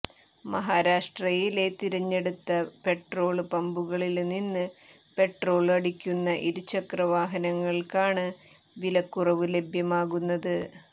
മഹാരാഷ്ട്രയിലെ തിരഞ്ഞെടുത്ത പെട്രോള് പമ്പുകളില്നിന്ന് പെട്രോള് അടിക്കുന്ന ഇരുചക്രവാഹനങ്ങള്ക്കാണ് വിലക്കുറവ് ലഭ്യമാകുന്നത്